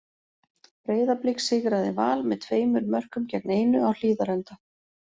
Breiðablik sigraði Val með tveimur mörkum gegn einu á Hlíðarenda.